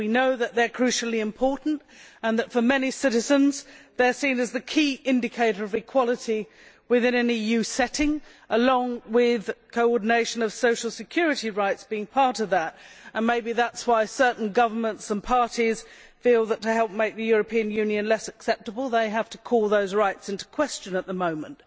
We know that they are crucially important and that for many citizens they are seen as the key indicator of equality within an EU setting, along with coordination of social security rights maybe this is why certain governments and parties feel that to help make the European Union less acceptable they have to call those rights into question at the moment.